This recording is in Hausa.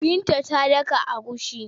Binta ta daka agushi.